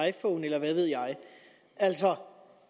iphone eller hvad ved jeg altså